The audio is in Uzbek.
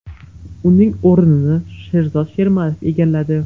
Uning o‘rnini Sherzod Shermatov egalladi .